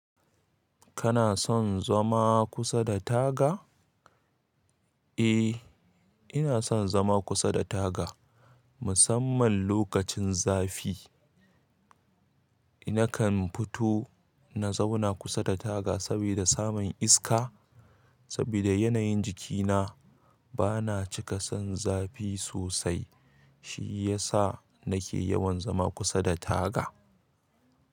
Kana son zama kusa da taga? Eh, ina son zama kusa da taga musamman lokacin zafi. Nakan fito na zauna kusa da taga saboda samun iska. Saboda yanayin jikina bana cika son zafi sosai, shi ya sa nake yawan zama kusa da taga.